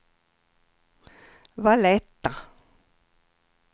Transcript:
Valletta